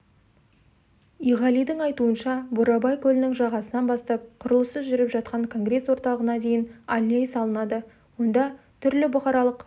иғалидің айтуынша бурабай көлінің жағасынан бастап құрылысы жүріп жатқан конгресс-орталығына дейін аллея салынады онда түрлі бұқаралық